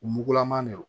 U mugulama de don